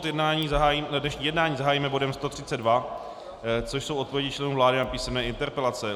Dnešní jednání zahájíme bodem 132, což jsou odpovědi členů vlády na písemné interpelace.